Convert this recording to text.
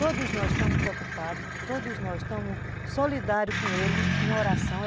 Todos nós estamos preocupados, todos nós estamos solidários com ele em oração.